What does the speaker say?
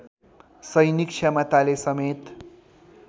सैनिक क्षमताले समेत